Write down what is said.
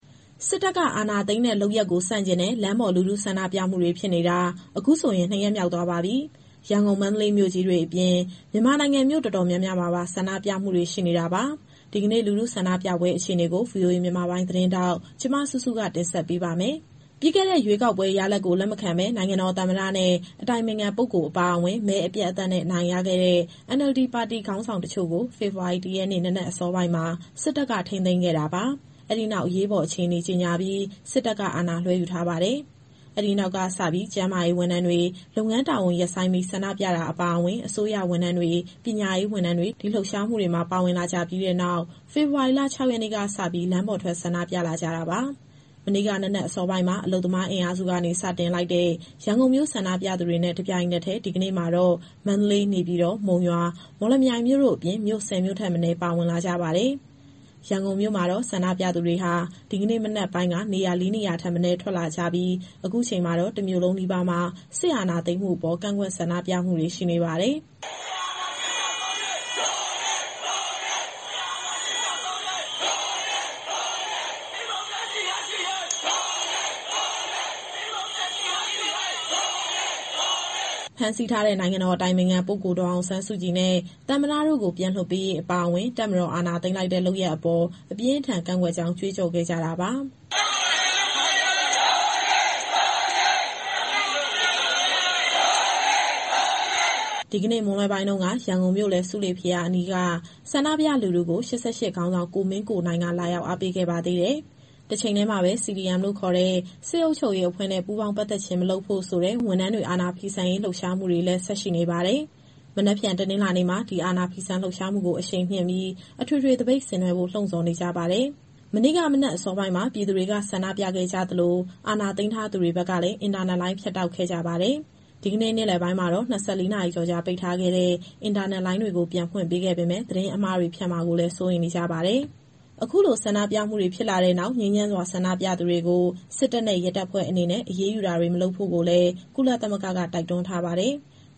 စစ်တပ်က အာဏာသိမ်းတဲ့ လုပ်ရပ်ကို ဆန့်ကျင်တဲ့ လမ်းပေါ် လူထုဆန္ဒပြမှုတွေ ဖြစ်နေတာ အခုဆိုရင် နှစ်ရက်မြောက်သွားပါပြီ။ ရန်ကုန် မန္တလေးမြို့ကြီးတွေအပြင် မြန်မာနိုင်ငံမြို့အတော်များများမှာပါ ဆန္ဒပြမှုတွေ ရှိနေတာပါ။ ဒီကနေ့ လူထုဆန္ဒပြပွဲအခြေအနေကို ဗွီအိုအေ မြန်မာပိုင်းသတင်းထောက် မစုစုက ပြောပြပါမယ်။ ပြီးခဲ့တဲ့ ရွေးကောက်ပွဲရလဒ်ကို လက်မခံဘဲ နိုင်ငံတော်သမ္မတနဲ့ အတိုင်ပင်ခံပုဂ္ဂိုလ်အပါအဝင် မဲအပြတ်အသတ်နဲ့ အနိုင်ရခဲ့တဲ့ NLD ပါတီခေါင်းဆောင်တချို့ကို ဖေဖော်ဝါရီလ ၁ ရက်နေ့ နံနက်အစောပိုင်းမှာ စစ်တပ်က ထိန်းသိမ်းခဲ့တာပါ။ အဲဒီနောက် အရေးပေါ်အခြေအနေကြေညာပြီး စစ်တပ်က အာဏာလွဲှယူထားပါတယ်။ အဲဒီနောက် ကျန်းမာရေးဝန်ထမ်းတွေ လုပ်ငန်းတာဝန်ရပ်ဆိုင်းပြီး ဆန္ဒပြတာအပါအဝင် အစိုးရဝန်ထမ်းတွေ၊ ပညာရေးဝန်ထမ်းတွေ ဒီလှုပ်ရှားမှုတွေမှာ ပါဝင်လာကြပြီးတဲ့နောက် ဖေဖော်ဝါရီလ ၆ ရက်နေ့က စပြီး လမ်းပေါ်ထွက်ဆန္ဒပြလာကြတာပါ။ မနေ့က နံနက်အစောပိုင်းမှာ အလုပ်သမားအင်အားစုကနေ စတင်လိုက်တဲ့ ရန်ကုန်မြို့ ဆန္ဒပြသူတွေနဲ့ တပြိုင်နက်တည်း ဒီကနေ့မှာတော့ မန္တလေး၊ နေပြည်တော်၊ မုံရွာ၊ မော်လမြိုင်မြို့တို့အပြင် မြို့ ၁၀ မြို့ထက်မနည်း ပါဝင်လာကြပါတယ်။ ရန်ကုန်မြို့မှာတော့ ဆန္ဒပြသူတွေဟာ ဒီနေ့ မနက်ပိုင်းက နေရာ လေးနေရာထက်မနည်းထွက်လာကြပြီး အခု အချိန်မှာတော့ တမြို့လုံးနီးပါးမှာ စစ်အာဏာသိမ်းမှု ကန့်ကွက်ဆန္ဒပြမှုတွေရှိနေပါတယ်။ "စစ်အာဏာရှင် ကျဆုံးရေး... ဒို့အရေး ဒို့အရေး၊ စစ်အာဏာရှင် ကျဆုံးရေး... ဒို့အရေး ဒို့အရေး၊ ဒီမိုကရေစီ ရရှိရေး... ဒို့အရေး ဒို့အရေး၊ ဒီမိုကရေစီ ရရှိရေး... ဒို့အရေး ဒို့အရေး။" ဖမ်းဆီးထားတဲ့ နိုင်ငံတော်အတိုင်ပင်ခံပုဂ္ဂိုလ် ဒေါ်အောင်ဆန်းစုကြည်နဲ့ သမ္မတတို့ကိုပြန်လွှတ်ပေးရေးအပါအဝင် တပ်မတော်က အာဏာသိမ်းလိုက်တဲ့လုပ်ရပ်အပေါ် အပြင်းအထန်ကန့်ကွက်ကြောင်း ကြွေးကြော်ခဲ့ကြတာပါ။ "အမေစုကို ပြန်လွှတ်ပေးရေး... ဒို့အရေး ဒို့အရေး၊ သမ္မတကို ပြန်လွှတ်ပေးရေး... ဒို့အရေး ဒို့အရေး။ " မွန်းလွဲပိုင်းကတော့ ရန်ကုန်မြို့လယ် ဆူးလေဘုရားအနီးက ဆန္ဒပြလူထုကို ၈၈ ခေါင်းဆောင် ကိုမင်းကိုနိုင်က လာရောက်အားပေးခဲ့ပါသေးတယ်။ တချိန်တည်းမှာတော့ CDM ခေါ်တဲ့ စစ်အုပ်ချုပ်ရေးအဖွဲ့နဲ့ ပူးပေါင်းပတ်သက်ခြင်း မလုပ်ဖို့ဆိုတဲ့ ဝန်ထမ်းတွေ အာဏာဖီဆန်ရေးလှုပ်ရှားမှုတွေလည်း ဆက်ရှိနေပါတယ်။ မနက်ဖြန်အင်္ဂါနေ့မှာ ဒီ အာဏာဖီဆန်ရေးလှုပ်ရှားမှုကို အရှိန်မြှင့်ပြီး၊ အထွေထွေသပိတ်ဆင်နွဲှဖို့ လှုံဆော်နေကြပါတယ်။ မနေ့က မနက်အစောပိုင်းမှာ ပြည်သူတွေက ဆန္ဒပြခဲ့ကြသလို အာဏာသိမ်းထားသူတွေဘက်ကလည်း အင်တာနက်လိုင်းဖြတ်တောက်ခဲ့ကြပါတယ်။ ဒီကနေ့ နေ့လယ်ပိုင်းမှာတော့ ၂၄ နာရီကျော်ကြာ ပိတ်ထားခဲ့တဲ့ အင်တာနက်လိုင်းတွေကို ပြန်ဖွင့်ပေးခဲ့ပေမဲ့ သတင်းအမှားတွေ ဖြန့်မှာကိုလည်း စိုးရိမ်နေကြပါတယ်။ အခုလို ဆန္ဒပြမှုတွေဖြစ်လာတဲ့နောက် ငြိမ်းချမ်းစွာဆန္ဒပြသူတွေကို စစ်တပ်နဲ့ ရဲတပ်ဖွဲ့အနေနဲ့အရေးယူတာမျိုး မလုပ်ကြဖို့ကိုလည်း ကုလသမဂ္ဂက တိုက်တွန်းထားပါတယ်။